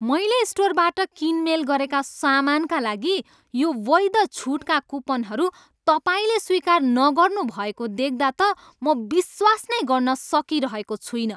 मैले स्टोरबाट किनमेल गरेका सामानका लागि यो वैध छुटका कुपनहरू तपाईँले स्वीकार नगर्नु भएको देख्दा त म विश्वास नै गर्न सकिरहेको छुइनँ।